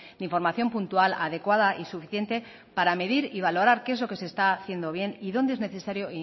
de información puntual adecuada y suficiente para medir y valorar qué es lo que se está haciendo bien y dónde es necesario